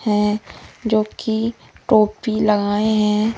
है जोकि टोपी लगाए हैं।